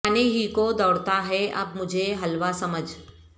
کھانے ہی کو دوڑتا ہے اب مجھے حلوا سمجھ